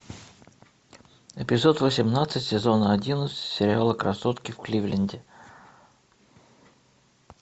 эпизод восемнадцать сезона одиннадцать сериала красотки в кливленде